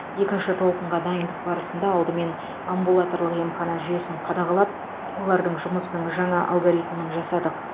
екінші толқынға дайындық барысында алдымен амбулаторлық емхана жүйесін қадағалап олардың жұмысының жаңа алгоритмін жасадық